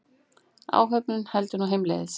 Áhöfnin heldur nú heimleiðis